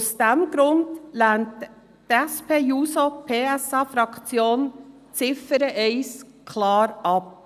Aus diesem Grund lehnt die SP-JUSO-PSA-Fraktion die Ziffer 1 klar ab.